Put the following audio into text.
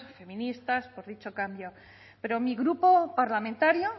feministas por dicho cambio pero mi grupo parlamentario